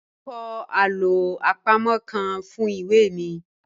Mo n kọ alo apamo kan fun iwe mi